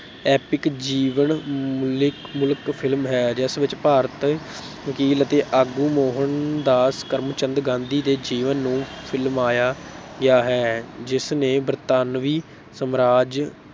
Epic ਜੀਵਨ ਮੂਲਕ ਮੁਲਕ film ਹੈ ਜਿਸ ਵਿੱਚ ਭਾਰਤ ਵਕੀਲ ਅਤੇ ਆਗੂ ਮੋਹਨਦਾਸ ਕਰਮਚੰਦ ਗਾਂਧੀ ਦੇ ਜੀਵਨ ਨੂੰ ਫਿਲਮਾਇਆ ਗਿਆ ਹੈ, ਜਿਸਨੇ ਬਰਤਾਨਵੀਂ ਸਮਰਾਜ